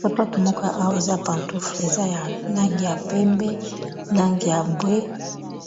Sapatu moko owa eza pantoufle eza ya langi ya pembe langi ya mbwe